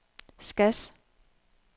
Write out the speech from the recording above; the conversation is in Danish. Skads